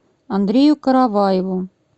андрею караваеву